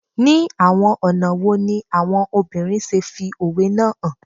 Ni awọn ọna wo ni awọn obinrin ṣe fi owe naa han